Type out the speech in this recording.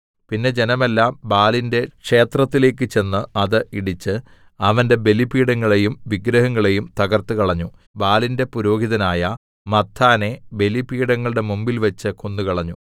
പിന്നെ ജനമെല്ലാം ബാലിന്റെ ക്ഷേത്രത്തിലേക്കു ചെന്ന് അത് ഇടിച്ച് അവന്റെ ബലിപീഠങ്ങളെയും വിഗ്രഹങ്ങളെയും തകർത്തുകളഞ്ഞു ബാലിന്റെ പുരോഹിതനായ മത്ഥാനെ ബലിപീഠങ്ങളുടെ മുമ്പിൽവെച്ച് കൊന്നുകളഞ്ഞു